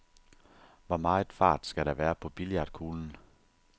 Hvor meget fart skal der være på billiardkuglen?